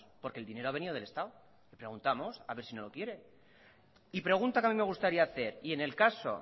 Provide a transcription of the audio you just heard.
porque el dinero ha venido del estado le preguntamos a ver si no lo quiere y pregunta que a mí me gustaría hacer y en el caso